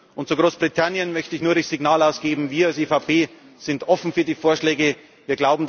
akzeptieren. Und zu Großbritannien möchte ich nur das Signal ausgeben, dass wir, als EVP, für die Vorschläge